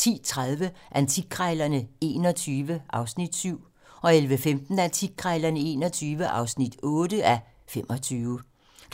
10:30: Antikkrejlerne XXI (7:25) 11:15: Antikkrejlerne XXI